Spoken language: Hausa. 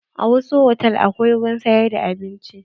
A wasu hotal akwai wurin sayar da abinci.